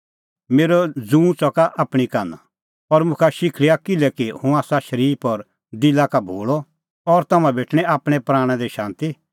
मेरअ जूँ च़का आपणीं कान्हा और मुखा शिखल़िया किल्हैकि हुंह आसा शरीफ और दिला का भोल़अ और तम्हां भेटणीं आपणैं प्राणा दी शांती